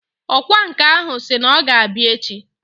Ọkwa nkà ahụ si na ọ ga-abịa echi